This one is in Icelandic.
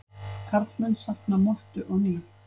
Karlmenn safna mottu á ný